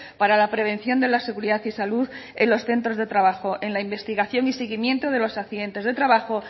para la prevención de la seguridad y salud en los centros de trabajo en la investigación y seguimiento de los accidentes de trabajo